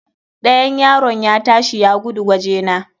Ɗayan yaron ya ta shi ya gudo wajena.